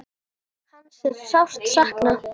Hans er sárt saknað.